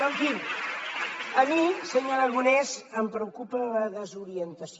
però en fi a mi senyor aragonès em preocupa la desorientació